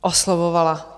Oslovovala.